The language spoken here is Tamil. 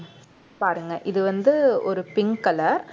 பாருங்க இது வந்து ஒரு pink color